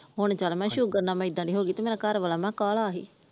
ਹੁਣ ਚੱਲ ਮੈ ਸ਼ੁਗਰ ਨਾਲ ਇਹਦਾ ਦੀ ਹੋਗੀ ਮੇਰਾ ਘਰਵਾਲਾ ਮੈ ਕਿਹਾ ਕਾਲਾ ਸੀ ।